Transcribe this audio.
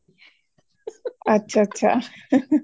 ਅੱਛਾ ਅੱਛਾ